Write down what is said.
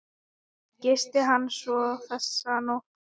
Gisti hann svo þessa nótt?